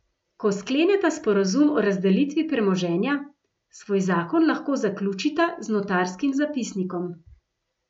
Ko skleneta sporazum o razdelitvi premoženja, svoj zakon lahko zaključita z notarskim zapisnikom.